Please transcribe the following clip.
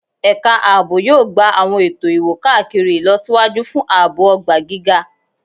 Ẹka aabo yoo gba awọn eto iwo-kakiri ilọsiwaju fun aabo ogba giga